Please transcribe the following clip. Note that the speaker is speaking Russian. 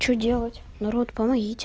что делать народ помогите